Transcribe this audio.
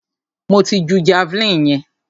Mo ti ju javeline yẹn.